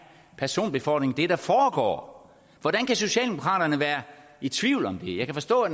personbefordring der foregår hvordan kan socialdemokraterne være i tvivl om det jeg kan forstå at